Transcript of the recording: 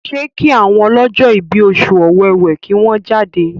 ṣe ki àwọn ọlọjọ ibí Oṣù Ọ̀wẹwẹ kí wón jáde?